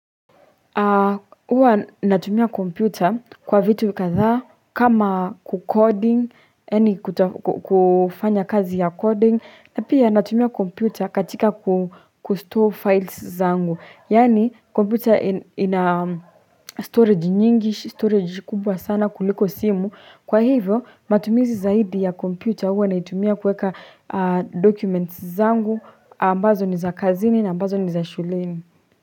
Uwa natumia kompyuta kwa vitu kadhaa kama kukoding yaani kufanya kazi ya koding napia natumia kompyuta katika kustore files zangu Yaani kompyuta ina storage nyingish storage kubwa sana kuliko simu kwa hivyo matumizi zaidi ya kompyuta uwa naitumia kueka documents zangu ambazo ni za kazini na ambazo ni za shuleni.